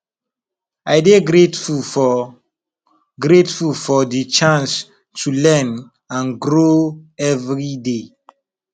i dey grateful for grateful for di chance to learn and grow every day